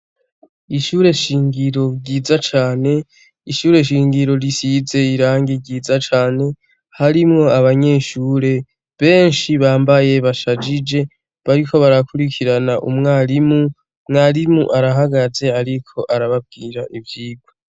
Ishure shingiro ryiza cane ishure shingiro risize irangi ryiza cane harimwo abanyeshure benshi bambaye bashajije bariko barakurikirana umwarimu mwarimu arahagaze ariko arababwira ivyigwa.